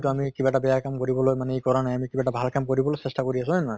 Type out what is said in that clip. আমি কিবা এটা বেয়া কাম কৰিবলৈ মানে ই কৰা নাই, কিবা এটা ভাল কাম কৰিবলৈ চেষ্টা কৰি আছো হয় নে নহয়?